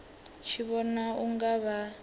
tshi vhona u nga vha